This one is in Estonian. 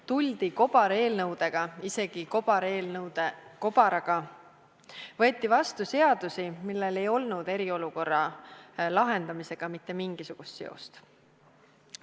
Tuldi kobareelnõudega, isegi kobareelnõude kobaraga, võeti vastu seadusi, millel ei olnud eriolukorra lahendamisega mitte mingisugust seost.